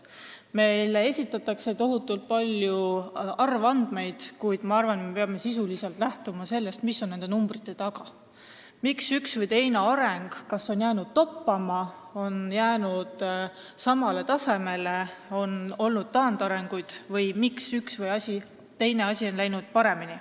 Meile esitatakse tohutult palju arvandmeid, kuid ma arvan, et me peame sisuliselt lähtuma sellest, mis on nende numbrite taga, miks üks või teine areng on jäänud kas toppama või samale tasemele, miks on olnud taandarengut või miks üks või teine asi on läinud paremini.